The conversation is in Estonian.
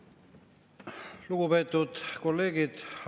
Lugupeetud kolleegid!